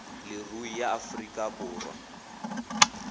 leruri ya aforika borwa a